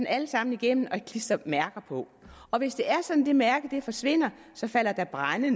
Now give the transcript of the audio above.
alle sammen igennem og klistre mærker på og hvis det er sådan at det mærke forsvinder falder der brænde